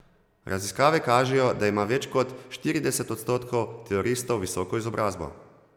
Raziskave kažejo, da ima več kot štirideset odstotkov teroristov visoko izobrazbo.